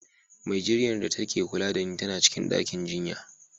Mai jinyar da ta ke kula da ni tana cikin ɗakin jinya.